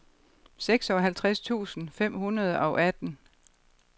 seksoghalvtreds tusind fem hundrede og atten